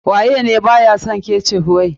Waye ne ba ya son ketchup wai.